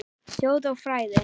Þjóð og fræði